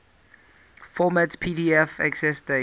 format pdf accessdate